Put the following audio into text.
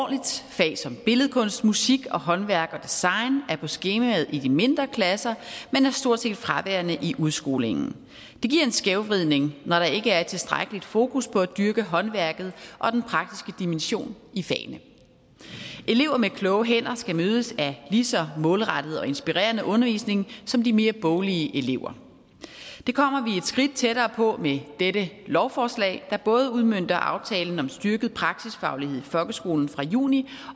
fag som billedkunst musik og håndværk og design er på skemaet i de mindre klasser men er stort set fraværende i udskolingen det giver en skævvridning når der ikke er tilstrækkelig fokus på at dyrke håndværket og den praktiske dimension i fagene elever med kloge hænder skal mødes af lige så målrettet og inspirerende undervisning som de mere boglige elever det kommer vi et skridt tættere på med dette lovforslag der både udmønter aftalen om styrket praksisfaglighed i folkeskolen fra juni